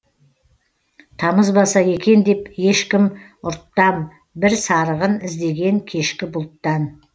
тамызбаса екен деп ешкім ұрттам бір сарығын іздеген кешкі бұлттан